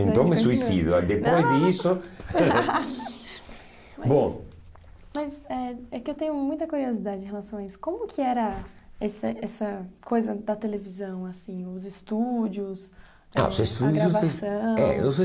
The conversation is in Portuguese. então é suicídio aí depois disso bom mas mas é é que eu tenho muita curiosidade em relação a isso como que era esse essa coisa da televisão assim os estúdios ah os estúdios, é, eh gravação